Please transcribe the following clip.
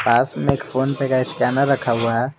पास में एक PhonePe का स्कैनर रखा हुआ है।